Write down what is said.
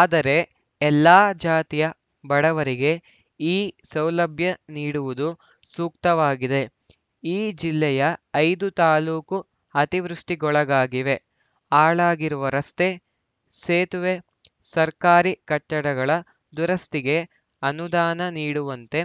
ಆದರೆ ಎಲ್ಲಾ ಜಾತಿಯ ಬಡವರಿಗೆ ಈ ಸೌಲಭ್ಯ ನೀಡುವುದು ಸೂಕ್ತವಾಗಿದೆ ಈ ಜಿಲ್ಲೆಯ ಐದು ತಾಲೂಕು ಅತಿವೃಷ್ಟಿಗೊಳಗಾಗಿವೆ ಹಾಳಾಗಿರುವ ರಸ್ತೆ ಸೇತುವೆ ಸರ್ಕಾರಿ ಕಟ್ಟಡಗಳ ದುರಸ್ತಿಗೆ ಅನುದಾನ ನೀಡುವಂತೆ